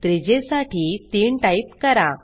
त्रिज्येसाठी 3 type करा